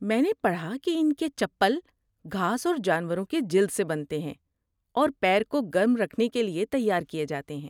میں نے پڑھا کہ ان کے چپل گھاس اور جانوروں کے جلد سے بنتے ہیں اور پیر کو گرم رکھنے کے لیے تیار کیے جاتے ہیں۔